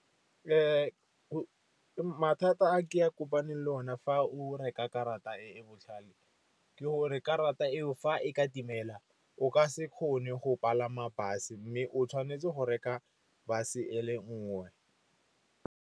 Mathata a ke a kopane le o ne fa o reka karata e e botlhale ke gore karata eo fa e ka timela o ka se kgone go palama bus-e, mme o tshwanetse go reka bus-e ele nngwe.